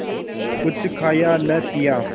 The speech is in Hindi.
कुछ खाया न पिया